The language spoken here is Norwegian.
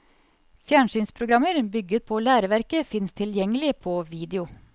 Fjernsynsprogrammer bygget på læreverket fins tilgjengelig på video.